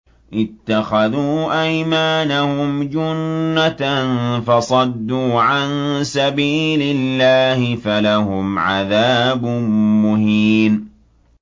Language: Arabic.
اتَّخَذُوا أَيْمَانَهُمْ جُنَّةً فَصَدُّوا عَن سَبِيلِ اللَّهِ فَلَهُمْ عَذَابٌ مُّهِينٌ